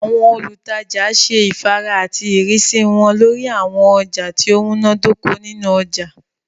Àwọn olùtajà ṣe ifàárà àti ìrísí wọn lórí àwọn ọjà tí ó múná dóko nínu ọjà